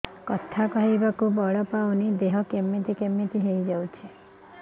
କଥା କହିବାକୁ ବଳ ପାଉନି ଦେହ କେମିତି କେମିତି ହେଇଯାଉଛି